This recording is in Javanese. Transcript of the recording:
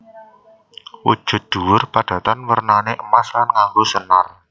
Wujude dhuwur padatan wernané emas lan nganggo senar